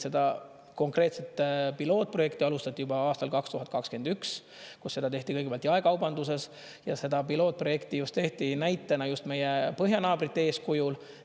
Seda konkreetset pilootprojekti alustati juba aastal 2021, kus seda tehti kõigepealt jaekaubanduses, ja seda pilootprojekti just tehti näitena just meie põhjanaabrite eeskujul.